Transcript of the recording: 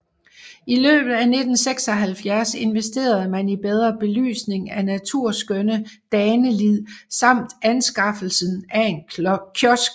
I løbet af 1976 investerede man i bedre belysning af naturskønne Danelid samt anskaffelsen af en kiosk